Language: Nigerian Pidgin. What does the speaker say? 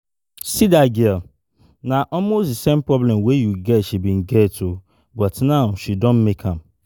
See dat girl, na almost the same problem wey you get she bin get, but now she don make am